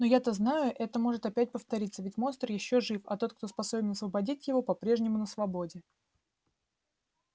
но я то знаю это может опять повториться ведь монстр ещё жив а тот кто способен освободить его по-прежнему на свободе